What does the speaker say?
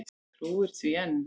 Trúir því enn.